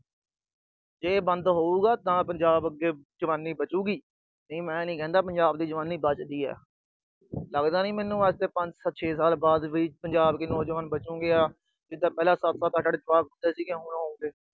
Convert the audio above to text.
ਜੇ ਬੰਦ ਹੋਊਗਾ ਤਾਂ ਪੰਜਾਬ ਦੀ ਜਵਾਨੀ ਅੱਗੇ ਵਧੂਗੀ, ਨਹੀਂ ਮੈਂ ਨੀ ਕਹਿੰਦਾ ਕਿ ਪੰਜਾਬ ਦੀ ਜਵਾਨੀ ਬਚ ਸਕਦੀ ਆ। ਲੱਗਦਾ ਨੀ ਮੈਨੂੰ ਅੱਜ ਤੋਂ ਪੰਜ-ਛੇ ਸਾਲ ਬਾਅਦ ਪੰਜਾਬ ਦੇ ਨੌਜਵਾਨ ਬਚਣਗੇ। ਜਿਦਾਂ ਪਹਿਲਾਂ ਸੱਤ-ਸੱਤ, ਅੱਠ-ਅੱਠ ਜਵਾਕ ਹੁੰਦੇ ਸੀਗੇ, ਹੁਣ ਹੋਊਗੇ।